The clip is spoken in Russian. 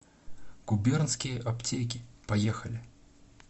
губернские аптеки поехали